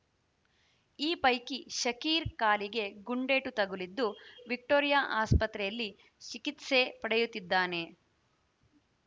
ಈ ಪೈಕಿ ಶಕೀರ್‌ ಕಾಲಿಗೆ ಗುಂಡೇಟು ತಗುಲಿದ್ದು ವಿಕ್ಟೋರಿಯಾ ಆಸ್ಪತ್ರೆಯಲ್ಲಿ ಚಿಕಿತ್ಸೆ ಪಡೆಯುತ್ತಿದ್ದಾನೆ